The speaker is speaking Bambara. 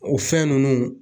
O fɛn nunnu